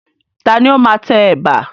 Ta ni ó máa tẹ ẹ̀bà?